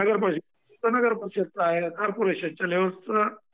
नगर परीषदेचं असेल तर नगर परीषदेचं आहे. कॉर्पोरेशनच्या लेवलचं...